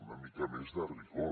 una mica més de rigor